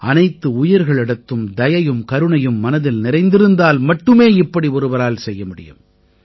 அனைத்து உயிர்களிடத்தும் தயையும் கருணையும் மனதில் நிறைந்திருந்தால் மட்டுமே இப்படி ஒருவரால் செய்ய முடியும்